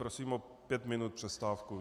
Prosím o pět minut přestávku.